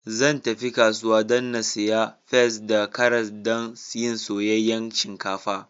Zan tafi kasuwa dan na siya peas da karas dan yin soyayyan shinkafa.